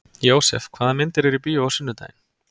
Jósef, hvaða myndir eru í bíó á sunnudaginn?